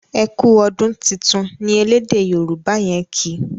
ẹkú ọdún títún ní ẹlẹdẹ yoruba yen kí.